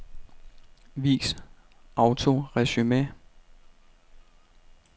Vis autoresumé.